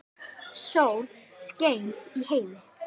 Sól skein í heiði.